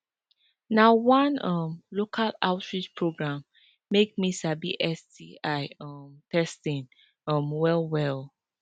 na one um local outreach program make me sabi sti um testing um well well